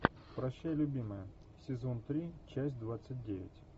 прощай любимая сезон три часть двадцать девять